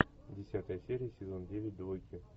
десятая серия сезон девять двойки